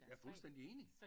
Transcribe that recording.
Jeg er fuldstændig enig